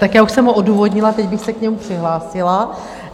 Tak já už jsem ho odůvodnila, teď bych se k němu přihlásila.